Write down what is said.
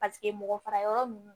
Paseke mɔgɔ fara yɔrɔ ninnu